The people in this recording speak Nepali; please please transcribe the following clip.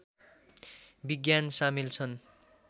विज्ञान सामेल छन्